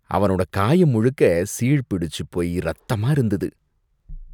அவனோட காயம் முழுக்க சீழ்பிடிச்சு போயி ரத்தமா இருந்தது.